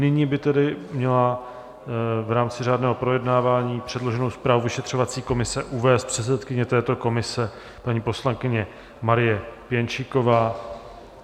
Nyní by tedy měla v rámci řádného projednávání předloženou zprávu vyšetřovací komise uvést předsedkyně této komise, paní poslankyně Marie Pěnčíková.